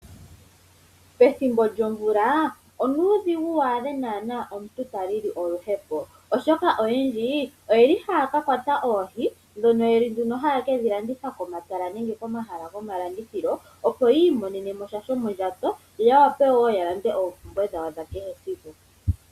Pethimbo lyomvula onuudhigu wu adhe naana omuntu ta lili oluhepo, oshoka oyendji oyeli haya ka kwata oohi dhono yeki nduno haye kedhi landitha komatala nenge komahala gomalandithilo opo ya imonene mo sha shomondjato, yo ya wape wo ya lande oompumbwe dhawo dha kehesiku.